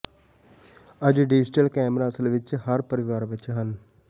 ਅੱਜ digital camera ਅਸਲ ਵਿਚ ਹਰ ਪਰਿਵਾਰ ਵਿਚ ਹਨ